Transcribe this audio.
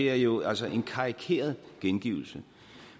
er jo altså en karikeret gengivelse